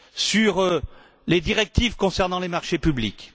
sur les directives concernant les marchés publics.